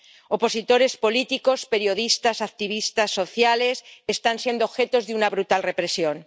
Opositores políticos, periodistas, activistas sociales están siendo objeto de una brutal represión.